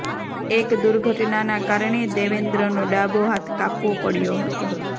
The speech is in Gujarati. એક દુર્ઘટનાના કારણે દેવેન્દ્રનો ડાબો હાથ કાપવો પડ્યો હતો